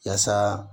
Yaasa